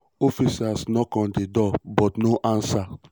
officers knock on di door but no answer.